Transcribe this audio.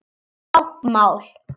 Læra táknmál